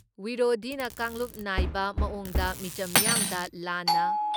ꯋꯤꯔꯣꯙꯤꯅ ꯀꯥꯡꯂꯨꯞ ꯅꯥꯏꯕ ꯃꯑꯣꯡꯗ ꯃꯤꯆꯝ ꯃꯤꯌꯥꯝꯗ ꯂꯥꯟꯅ